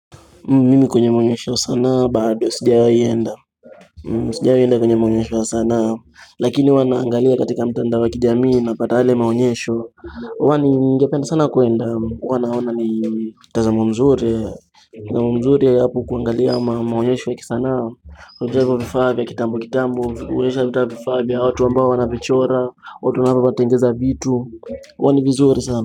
Mimi kwenye maonyesho ya sanaa, bado, sijawahi enda. Sijawahi enda kwenye maonyesho ya sana Lakini huwa naangalia katika mtandao wa kijamii napata yale maonyesho wa ningependa sana kuenda, huwa naona ni mtazamo mzuri na mzuri hapo kuangalia maonyesho ya kisanaa japo vifaa vya kitambo kitambo, wawezakuta vifaa, vya watu ambao wanajichora, watu wanapotengeneza vitu huwa ni vizuri sana.